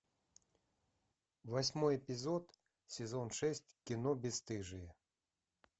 восьмой эпизод сезон шесть кино бесстыжие